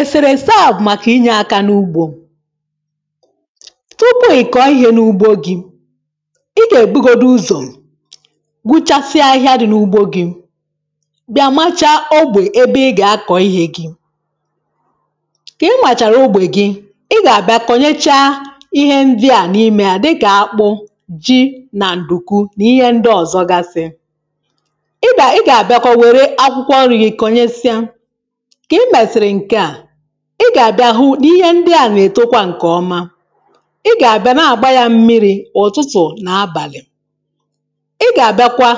èsèrèsè a bụ̀ màkà inyė aka n’ugbȯ tupu ị̀ kọ̀ọ ihė n’ugbo gị̇, i gà-èbugodi uzò gbuchasịa ahịhịa dị̇ n’ugbo gi̇, bịa machaa ogbè ebe ị gà-akọ̀ ihė gị̇. kà i màchàrà ogbè gị, ị gà-àbịa kọ̀nyecha ihe ndị à n’imė hȧ dịkà akpụ, ji nà ǹdùku nì ihe ndị ọzọ gasịa ị bà, ị gà-àbịa kọ̀ wère akwụkwọ ọnrị̇ gị̀ kọnyesịa. Mgbe I mesịrị ndị a ị gà-àbịa hụ n’ihe ndị à nà-èto kwa ǹkèọma ị gà-àbịa na-àgba ya mmiri̇ ụ̀tụtụ̀ nà abàlị̀ ị gà-àbịakwa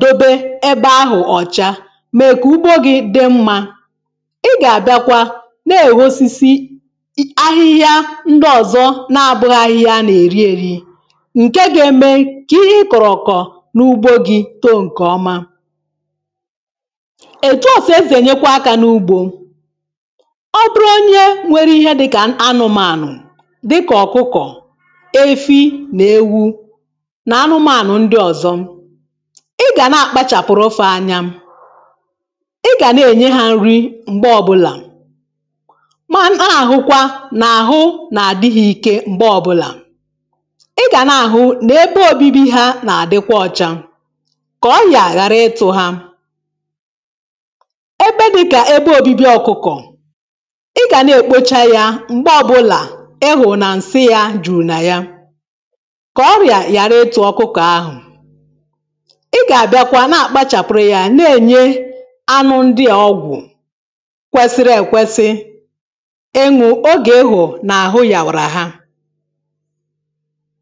dobe ebe ahụ̀ ọ̀cha mèe kà ugbo gị̇ dị mmȧ ị gà-àbịakwa na-èwosisi ahịhịa ndị ọ̀zọ na abụghị ahịhịa a nà-èri èri ǹke ga-eme ka ihe ị kọ̀rọ̀ ọ̀kọ̀ n’ugbo gi̇ tó ǹkèọma. Etu a ka-esi enye kwa aka n'ugbo ọbụrụ onye nwere ihe dịkà anụmànụ̀ dịkà ọ̀kụkọ̀, efi nà ewu nà anụmànụ̀ ndị ọ̀zọ ị gà na-àkpachàpụrụ fa anya ị gà na-ènye ha nri m̀gbe ọbụlà ma na-àhụkwa nà àhụ nà àdị hȧ ike m̀gbe ọbụlà ị gà nà-àhụ nà ebe òbibi ha nà-àdịkwa ọ̇chȧ kà ọrịa ghàra ịtụ̇ ha. Ebe dịka ebe obibi ọkụkọ ị gà na-èkpocha yȧ m̀gbe ọbụlà ịhụ̀ na ǹsị yȧ jùrù nà ya kà ọrị̀à yàra ịtụ ọkụkọ̀ ahụ̀ ị gà-àbịakwa na-àkpapụrụ yȧ na-ènye anụ ndị à ọgwụ̀ kwesiri èkwesi ịṅụ̇ ogè ịhụ̀ nà-àhụ yàwàrà ha